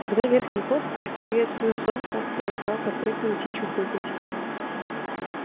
тогда верхний косач приветствуя солнце перестал подпрыгивать и чуфыкать